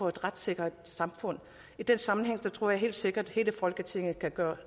et retssikkert samfund i den sammenhæng tror jeg helt sikkert at hele folketinget kan gøre